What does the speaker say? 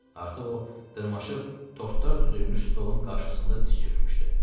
Artıq o dırmaşıb tortlar düzülmüş stolun qarşısında diz çökmüşdü.